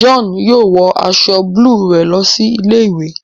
John yóò wọ aṣọ buluu rẹ lọ sí ilé-ìwé